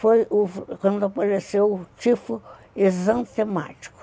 Foi o quando apareceu o tifo exantemático.